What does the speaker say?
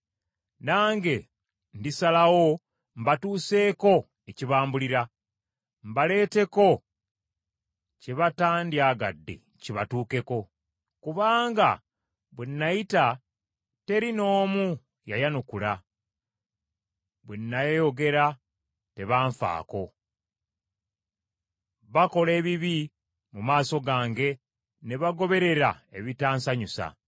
Nange ndisalawo mbatuuseeko ekibambulira, mbaleeteko kye batandyagadde kibatuukeko. Kubanga bwe nayita, teri n’omu yayanukula, bwe nnaayogera tebanfaako. Bakola ebibi mu maaso gange ne bagoberera ebitansanyusa.”